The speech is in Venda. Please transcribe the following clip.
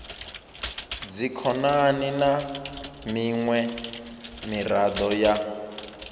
dzikhonani na miṅwe miraḓo ya